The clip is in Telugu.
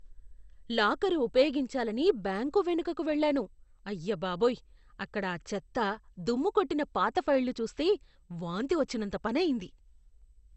లాకరు ఉపయోగించాలని బ్యాంకు వెనుకకు వెళ్ళాను. అయ్యబాబోయ్, అక్కడ ఆ చెత్త, దుమ్ముకొట్టిన పాత ఫైళ్లు చూస్తే వాంతి వచ్చినంత పని అయింది.